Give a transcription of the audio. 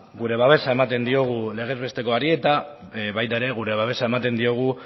gure babesa ematen diogu legez bestekoari eta baita ere gure babesa ere ematen diogu